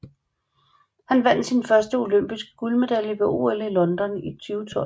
Han vandt sin første olympiske guldmedalje ved OL i London i 2012